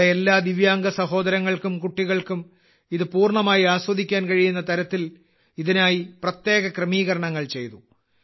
നമ്മുടെ എല്ലാ ദിവ്യാംഗ സഹോദരങ്ങൾക്കും കുട്ടികൾക്കും ഇത് പൂർണ്ണമായി ആസ്വദിക്കാൻ കഴിയുന്ന തരത്തിൽ ഇതിനായി പ്രത്യേക ക്രമീകരണങ്ങൾ ചെയ്തു